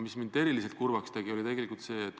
Aga eriti kurvaks tegi mind tegelikult selline asi.